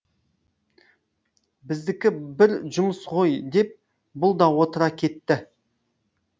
біздікі бір жұмыс ғой деп бұл да отыра кетті